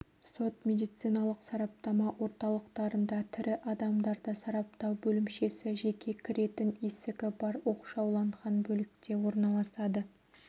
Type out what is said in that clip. сот-медициналық сараптама орталықтарында тірі адамдарды сараптау бөлімшесі жеке кіретін есігі бар оқшауланған бөлікте орналасады